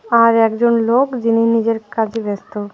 আর একজন লোক যিনি নিজের কাজে ব্যস্ত।